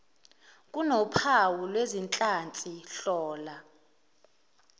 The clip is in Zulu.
kunophawu lwezinhlansi hlola